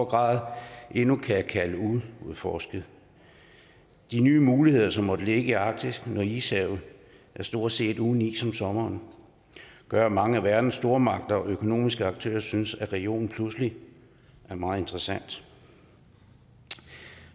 grad endnu kan kalde uudforsket de nye muligheder som måtte ligge i arktis når ishavet stort set er uden is om sommeren gør at mange af verdens stormagter og økonomiske aktører synes at regionen pludselig er meget interessant